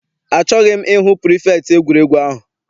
Achọghị m I hụ pirifektị egwuregwu ahụ.